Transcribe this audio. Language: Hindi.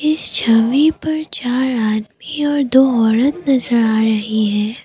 इस छवि पर चार आदमी और दो औरत नजर आ रहे है।